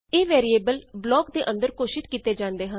ਇਹ variable block ਦੇ ਅੰਦਰ ਘੋਸ਼ਿਤ ਕੀਤੇ ਜਾਂਦੇ ਹਨ